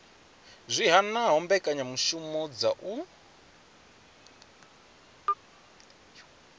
zwi hanaho mbekanyamishumo dza u